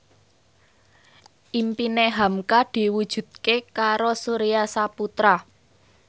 impine hamka diwujudke karo Surya Saputra